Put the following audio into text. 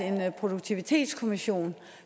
produktivitetskommissionen